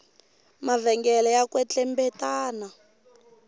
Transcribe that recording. mavhengele ya kwetlembetana